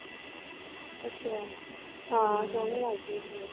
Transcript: ਅੱਛਾ ਹਾਂ ਸੋਹਣੇ ਲੱਗਦੇ ਹੁੰਦੇ ਆ